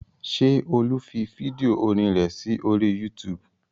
Ṣé Olú fi fídíò orin rẹ̀ sí orí YouTube?